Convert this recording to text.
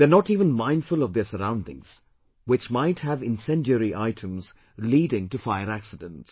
They are not even mindful of their surroundings, which might have incendiary items leading to fire accidents